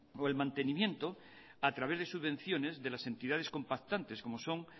o el mantenimiento a través de subvenciones de las entidades compactantes como son